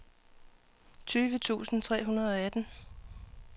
tyve tusind tre hundrede og atten